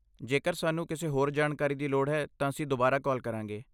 ਜੇਕਰ ਸਾਨੂੰ ਕਿਸੇ ਹੋਰ ਜਾਣਕਾਰੀ ਦੀ ਲੋੜ ਹੈ, ਤਾਂ ਅਸੀਂ ਦੁਬਾਰਾ ਕਾਲ ਕਰਾਂਗੇ।